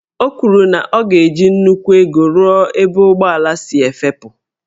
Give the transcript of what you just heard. O kwuru na a ga-eji nnukwu ego rụọ ebe ụgbọelu si efepu.